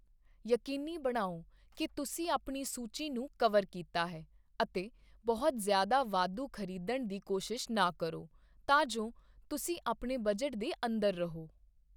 ਯਕੀਨੀ ਬਣਾਓ ਕਿ ਤੁਸੀਂ ਆਪਣੀ ਸੂਚੀ ਨੂੰ ਕਵਰ ਕੀਤਾ ਹੈ, ਅਤੇ ਬਹੁਤ ਜ਼ਿਆਦਾ ਵਾਧੂ ਖਰੀਦਣ ਦੀ ਕੋਸ਼ਿਸ਼ ਨਾ ਕਰੋ, ਤਾਂ ਜੋ ਤੁਸੀਂ ਆਪਣੇ ਬਜਟ ਦੇ ਅੰਦਰ ਰਹੋ।